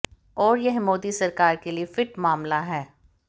और यह मोदी सरकार के लिये फिट मामला है